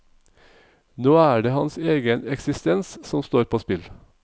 Nå er det hans egen eksistens som står på spill.